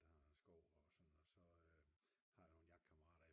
Der er skov og sådan noget og så har jeg nogle jagtkammerater